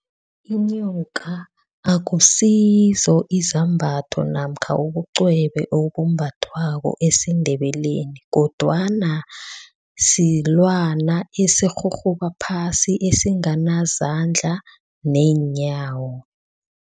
Inyoka akusizo izambatho namkha ubucwebe obumbathwako esiNdebeleni kodwana silwana esirhurhuba phasi esinganazandla neenyawo.